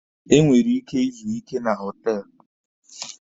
E nwere ike izu ike na họtelụ.